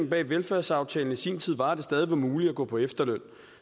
bag velfærdsaftalen i sin tid var at det stadig var muligt at gå på efterløn